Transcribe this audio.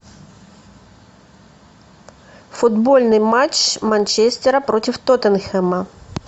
футбольный матч манчестера против тоттенхэма